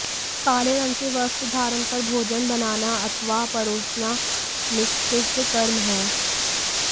काले रंग के वस्त्र धारण कर भोजन बनाना अथवा परोसना निषिद्ध कर्म है